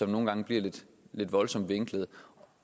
nogle gange bliver lidt voldsomt vinklede